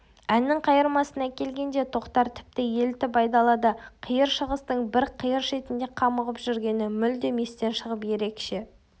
әннің қайырмасына келгенде тоқтар тіпті елітіп айдалада қиыр шығыстың бір қиыр шетінде қамығып жүргені мүлдем естен шығып ерекше